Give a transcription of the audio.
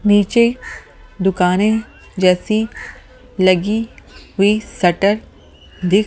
नीचे दुकानें जैसी लगी हुई शटर दिख--